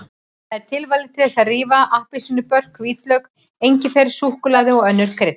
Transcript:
Það er tilvalið til þess að rífa appelsínubörk, hvítlauk, engifer, súkkulaði og önnur krydd.